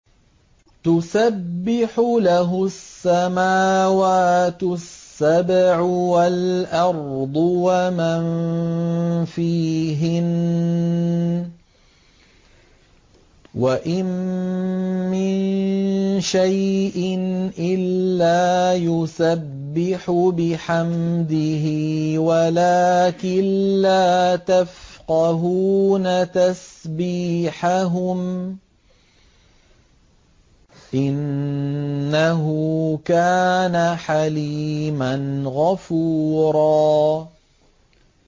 تُسَبِّحُ لَهُ السَّمَاوَاتُ السَّبْعُ وَالْأَرْضُ وَمَن فِيهِنَّ ۚ وَإِن مِّن شَيْءٍ إِلَّا يُسَبِّحُ بِحَمْدِهِ وَلَٰكِن لَّا تَفْقَهُونَ تَسْبِيحَهُمْ ۗ إِنَّهُ كَانَ حَلِيمًا غَفُورًا